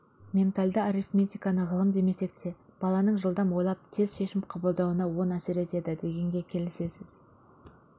ментальды арифметиканы ғылым демесек те баланың жылдам ойлап тез шешім қабылдауына оң әсер етеді дегенге келісесіз